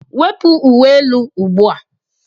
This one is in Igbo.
Wepu uwe elu ugbu a.